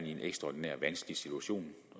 i en ekstraordinær vanskelig situation